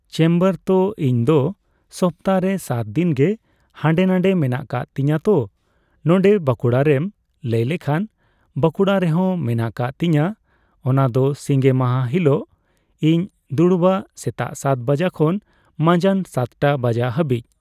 Chamber ᱛᱚ ᱤᱧᱫᱚ ᱥᱚᱯᱛᱟᱦᱚᱨᱮ ᱥᱟᱛ ᱫᱤᱱᱜᱮ ᱦᱟᱸᱰᱮ ᱱᱟᱸᱰᱮ ᱢᱮᱱᱟᱜ ᱠᱟᱜ ᱛᱤᱧᱟᱹ ᱛᱳ ᱱᱚᱸᱰᱮ ᱵᱟᱸᱠᱩᱲᱟᱨᱮᱢ ᱞᱟᱹᱭ ᱞᱮᱠᱷᱟᱱ ᱵᱟᱸᱠᱩᱲᱟ ᱨᱮᱦᱚᱸ ᱢᱮᱱᱟᱜ ᱠᱟᱜ ᱛᱤᱧᱟ ᱚᱱᱟ ᱫᱚ ᱥᱤᱸᱜᱮ ᱢᱟᱦᱟ ᱦᱤᱞᱟᱹᱜ ᱤᱧ ᱫᱩᱲᱩᱵᱟ ᱥᱮᱛᱟᱜ ᱥᱟᱛ ᱵᱟᱡᱟᱜ ᱠᱷᱚᱱ ᱢᱟᱸᱡᱟᱱ ᱥᱟᱛᱴᱟ ᱵᱟᱡᱟᱜ ᱦᱟᱹᱵᱤᱡ ᱾